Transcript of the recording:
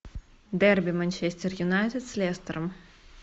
дерби манчестер юнайтед с лестером